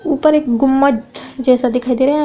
ऊपर एक गुम्मद जैसा दिखाई रहा है --